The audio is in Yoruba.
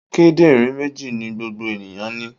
Kíndìnrín méjì ni gbogbo ènìyàn ní.